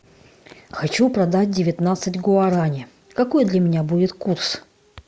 хочу продать девятнадцать гуарани какой для меня будет курс